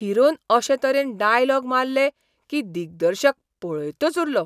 Heron अशे तरेन dialogue मारले की दिग्दर्शक पळयतच उरलो.